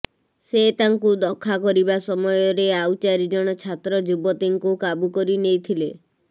ସେ ତାଙ୍କୁ ଦଖାକରିବା ସମୟରେ ଆଉ ଚାରି ଜଣ ଛାତ୍ର ଯୁବତୀଙ୍କୁ କାବୁ କରିନେଇଥିଲେ